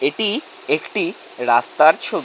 এটি একটি রাস্তার ছবি।